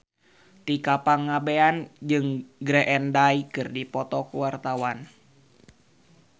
Tika Pangabean jeung Green Day keur dipoto ku wartawan